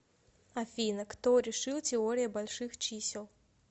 афина кто решил теория больших чисел